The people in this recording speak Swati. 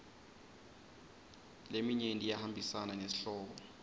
leminyenti iyahambisana nesihloko